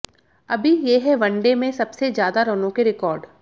अभी ये है वनडे में सबसे ज्यादा रनों के रिकॉर्ड